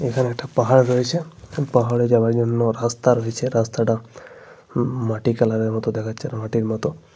এখানে একটা পাহাড় রয়েছে। এবং পাহাড়ে যাওয়ার জন্য রাস্তা রয়েছে। রাস্তাটা হম মাটি কালারের দেখাচ্ছে মাটির মতো।